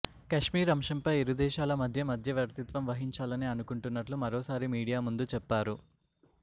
కాశ్మీర్ అంశం పై ఇరు దేశాల మధ్య మధ్యవర్తిత్వం వహించాలని అనుకుంటున్నట్లు మరోసారి మీడియా ముందు చెప్పారు